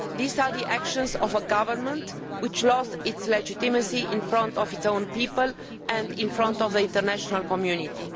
These are the actions of a government which has lost its legitimacy in front of its own people and in front of the international community.